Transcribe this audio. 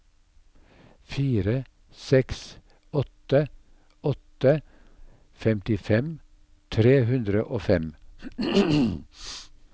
fire seks åtte åtte femtifem tre hundre og fem